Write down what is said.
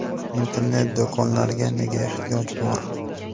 Internet-do‘konlarga nega ehtiyoj bor?